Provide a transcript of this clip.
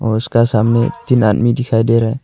उसका सामने तीन आदमी दिखाई दे रहा है।